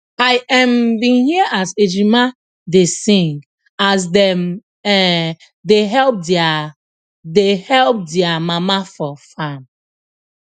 i um been hear as ejima da sing as dem um da help dia da help dia mama for farm